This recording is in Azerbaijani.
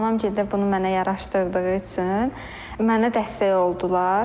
Anamgil də bunu mənə yaraşdırdığı üçün mənə dəstək oldular.